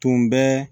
Tun bɛ